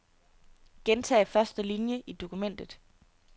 Gentag første linie i dokumentet.